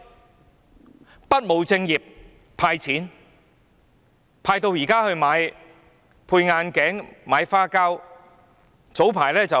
政府不務正業地"派錢"，派到現在用來配眼鏡、買花膠。